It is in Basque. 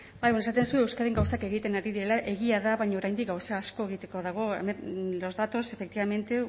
bai eskerrik asko esaten duzu euskadin gauzak egiten ari direla egia da baina oraindik gauza asko egiteko dago los datos efectivamente